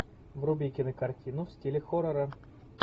вруби кинокартину в стиле хоррора